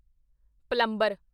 plumber